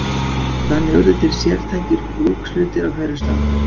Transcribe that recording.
Þannig urðu til sértækir brúkshlutir á hverjum stað.